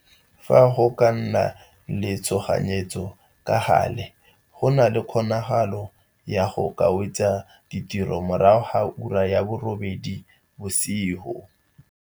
Fa go ka nna le tshoganyetso, ka gale go na le kgonagalo ya go ka wetsa tiro morago ga ura ya bo robedi, o ne a rialo.